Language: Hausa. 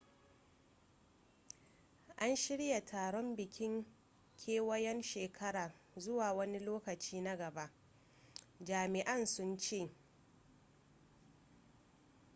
an shirya taron bikin kewayon shekara zuwa wani lokaci na gaba jami'an sun ce